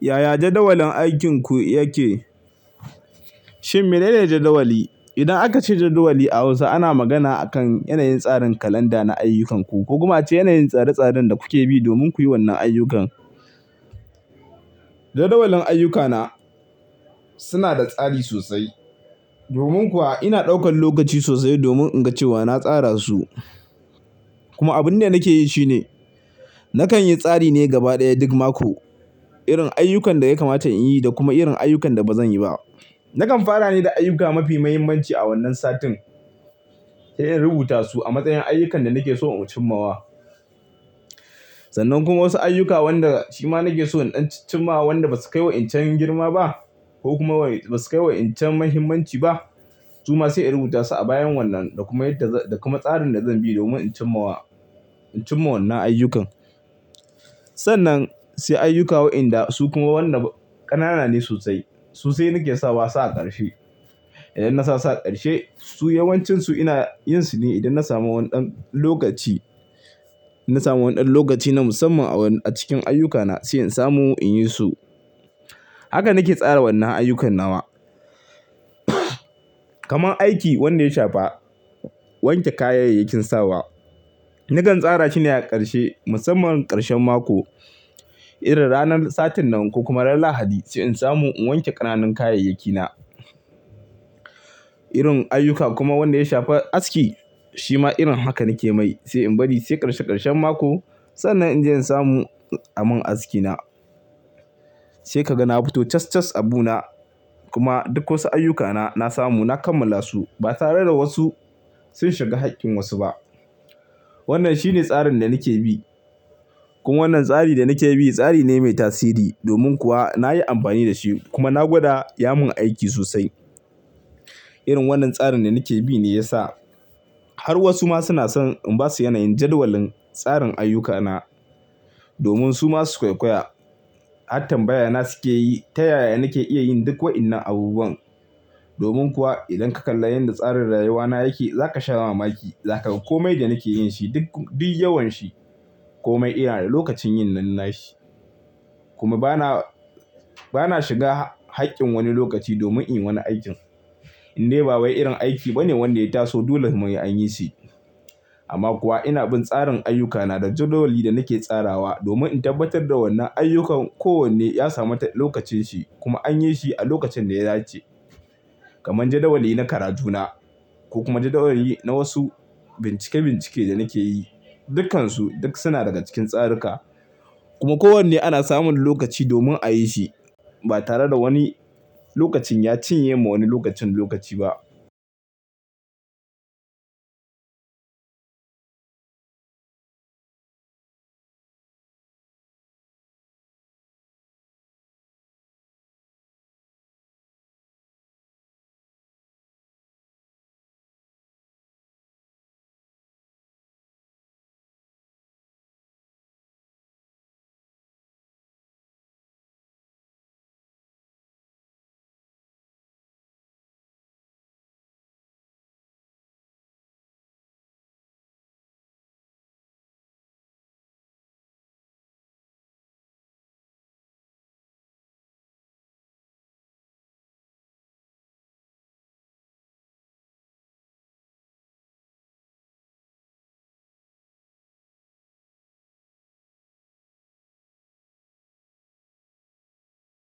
Yaya jadawalin aikinku yake? Shin mene ne jadawali? Idan aka ce jadawali a Hausa ana magana akan yanayin tsarin kalanda na ayyukanku ko kuma cewa yanayin tsare-tsaren da kuke bi domin ku yi wannan ayyukan. Jadawalin ayyukana suna da tsari sosai. Domin kuwa ina ɗaukan lokaci sosai domin in ga cewa na tsara su. Kuma abun da nake yi shine nakan yi tsari ne gaba ɗaya duk mako irin ayyukan da ya kamata in yi da kuma irin ayyukan da ba zan yi ba. Nakan fara ne da ayyuka mafi mahimmanci a wannan satin sai in rubuta su a matsayin ayyukan da nake so in cimmawa. Sannan kuma wasu ayyuka wanda shi ma nake so in cimma wanda ba su kai wa in cin girma ba ko kuma ba su kai wa in cin muhimmanci ba. Suma sai in rubuta su a bayan wannan da kuma yadda da kuma tsarin da zan bi domin in cimma wa, in cimma wannan ayyukan. Sannan sai ayyuka wa'inda su kuma wannan ƙanana ne sosai. Su nake sa su a ƙarshe. Idan na sa su a ƙarshe su yawancinsu ina yin su ne idan na samu wani dan lokaci, na samu wani dan lokaci na musamman a wani a cikin ayyukana sai in samu in yi su. Haka nake tsara wannan ayyukan nawa. Kaman aiki wanda ya shafa wanke kayayyakin sawa. Nakan tsara shi ne a ƙarshe musamman ƙarshen mako irin ranar satin nan ko kuma ran Lahadi sai in samu in wanke ƙananan kayayyakina. Irin ayyuka kuma wanda ya shafa aski shi ma irin haka nake mai sai in bari sai ƙarshe ƙarshen mako sannan in je in samu a mun askina. Sai ka ga na fito cas cas abu na kuma duk wasu ayyukana na samu na kammala su ba tare da wasu sun shiga haƙƙin wasu ba. Wannan shi ne tsarin da nake bi. Kuma wannan tsari da nake bi tsari ne mai tasiri domin kuwa na yi amfani da shi kuma na gwada ya mun aiki sosai. Irin wannan tsarin da nake bi ne ya sa har wasu ma suna son in ba su yanayin jadawalin tsarin ayyukana domin su ma su koykoya. Hatta bayyana suke yi ta yaya nake iya yin duk wa'innan abubuwan. Domin kuwa idan ka kalla yanda tsarin rayuwana yake za ka sha mamaki. Za ka ga komai da nake yin shi duk, duk yawan shi komai yana da lokacin yin nan shi. Kuma ba na, ba na shiga haƙƙin wani lokaci domin in yi wani aikin. Indai ba wai irin aiki ba ne wanda ya taso dole kuma sai an yi shi. Amma kuwa ina bin tsarin ayyukana da jadawali da nake tsarawa domin in tabbatar da wannan ayyukan kowanne ya samu lokacinsa kuma an yi shi a lokacin da ya dace. Kaman jadawali na karajuna ko kuma jadawali na wasu bincike-bincike da nake yi. Dukansu duk suna daga cikin tsarika. Kuma kowanne ana samun lokaci domin a yi shi ba tare da wani lokacin ya cinye ma wani lokacin lokaci ba.